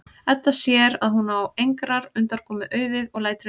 Edda sér að hún á engrar undankomu auðið og lætur undan.